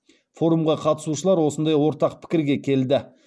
форумға қатысушылар осындай ортақ пікірге келді